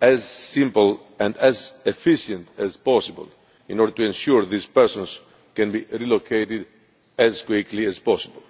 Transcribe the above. as simple and efficient as possible in order to ensure that these persons can be relocated as quickly as possible.